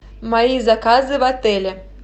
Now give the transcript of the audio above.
мои заказы в отеле